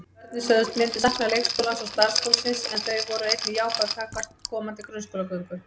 Börnin sögðust myndu sakna leikskólans og starfsfólksins en þau voru einnig jákvæð gagnvart komandi grunnskólagöngu.